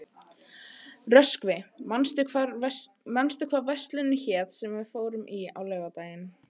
Röskvi, manstu hvað verslunin hét sem við fórum í á laugardaginn?